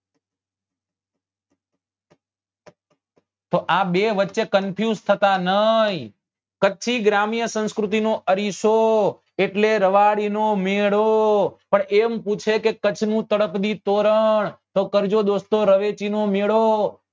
તો આ બે વચે confused થતા ની કચ્છી ગ્રમીય સંસ્કૃતિ નો અરીસો એટલે રબારી નો મેળો પણ એમ પૂછે કે કચ્છ નું તળપદી તોરણ તો કરજો દોસ્તો રવેચી નો મેળો